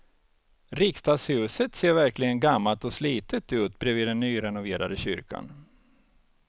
Riksdagshuset ser verkligen gammalt och slitet ut bredvid den nyrenoverade kyrkan.